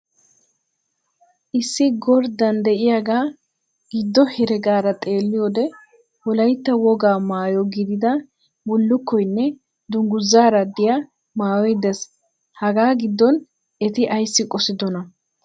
Issi gorddan diyagaa giddo heregaara xeelliyode Wolaytta wogaa maayo gidida bullukkoynne dunguzaara diya maayoy des. Hagaa giddon eti ayssi qosidonaa?